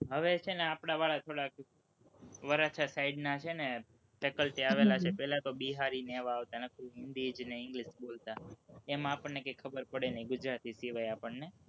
હવે છે ને આપણા વાળા થોડાક વરાછા side ના છે ને, faculty આવેલા છે, પેલા તો બિહારી ને એવા આવતા, અને english બોલતા, એમાં આપણને કઈ ખબર પડે નહીં, ગુજરાતી સિવાય આપણને